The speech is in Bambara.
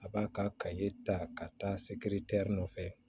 A b'a ka kaye ta ka taa se nɔfɛ